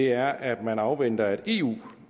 er at man afventer at eu